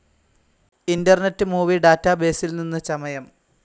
internet movie ഡാറ്റബേസിൽ നിന്ന് ചമയം